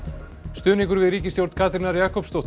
stuðningur við ríkisstjórn Katrínar Jakobsdóttur